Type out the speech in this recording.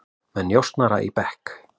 Með njósnara í bekk